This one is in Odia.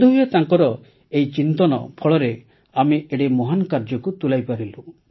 ବୋଧହୁଏ ତାର ସେହି ଚିନ୍ତନ ଫଳରେ ଆମେ ଏଡ଼େ ମହାନ୍ କାର୍ଯ୍ୟକୁ ତୁଲାଇପାରିଲୁ